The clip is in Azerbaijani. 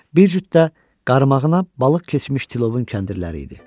Bir cüt də qaramağına balıq keçmiş tilovun kəndirləri idi.